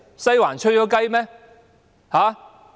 "'西環'吹雞"嗎？